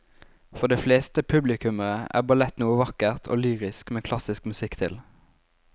For de fleste publikummere er ballett noe vakkert og lyrisk med klassisk musikk til.